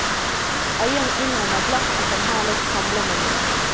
Eieren innrømmer glatt at han har litt samlemani.